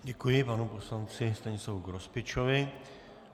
Děkuji panu poslanci Stanislavu Grospičovi.